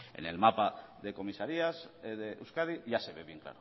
en el mapa de comisarías de euskadi ya se ve bien